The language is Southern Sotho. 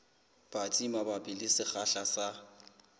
batsi mabapi le sekgahla sa